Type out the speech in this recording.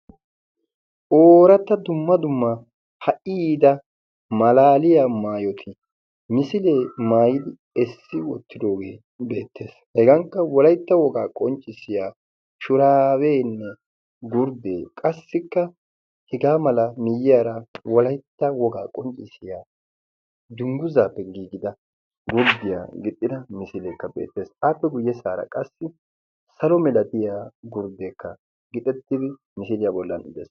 Ooratta dumma dumma ha"iida malaaliya maayoti misilee maayidi essi wottidoogee beettees hegankka wolaitta wogaa qonccissiya shuraaweenne gurddee qassikka hegaa mala miiyyiyaara wolaitta wogaa qonccissiya dungguzaappe giigida gurddiyaa gixxida misileekka beettees aappe guyye saara qassi salo milatiyaa gurddeekka gixettidi misiiliyaa bollan uttees.